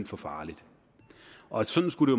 for farligt og sådan skulle